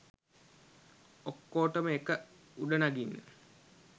ඔක්කෝටම ඒක උඩ නඟින්න